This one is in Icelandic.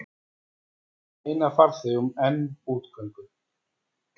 Meina farþegum enn útgöngu